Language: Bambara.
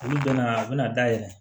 Olu bɛna u bɛna dayɛlɛ